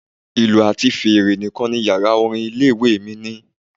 Ìlù àti fèrè nìkan ni Yàrá orin ilé ìwée mi ní.